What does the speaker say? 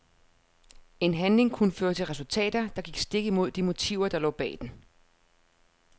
En handling kunne føre til resultater, der gik stik imod de motiver der lå bag den.